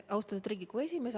Austatud Riigikogu esimees!